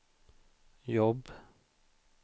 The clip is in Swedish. jobb